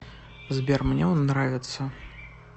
сбер мне он нравится